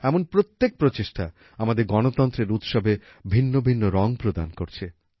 এমন প্রত্যেক প্রচেষ্টা আমাদের গণতন্ত্রের উৎসবে ভিন্ন ভিন্ন রং প্রদান করছে